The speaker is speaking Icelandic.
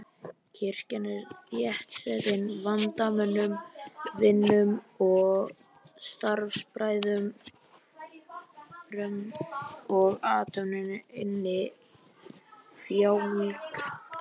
Kirkjan er þéttsetin vandamönnum, vinum og starfsbræðrum og athöfnin innfjálg.